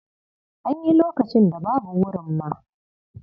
An yi lokacin da babu wurin ma.